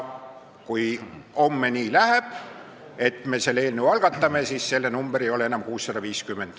Kui homme läheb nii, et me selle eelnõu algatame, siis selle number ei ole enam 650.